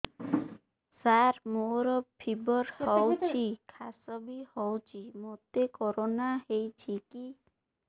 ସାର ମୋର ଫିବର ହଉଚି ଖାସ ବି ହଉଚି ମୋତେ କରୋନା ହେଇଚି କି